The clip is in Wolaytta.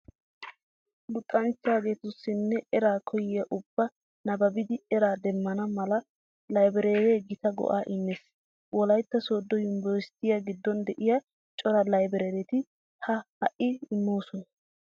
Luxanchcgatussinne eraa koyiya ubbay nabbabidi eraa demmana mala laybireeree gita go"aa immees. Wolaytta sooddo yunbberesttiya giddon de'iya cora laybireereti ha hi"aa immoosona.